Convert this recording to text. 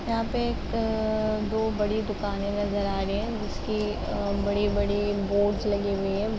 यहाँ पे एक दो बड़ी दुकान नजर आ रहे हैं जिसकी अ बड़ी-बड़ी बोर्डस लगे हुई है |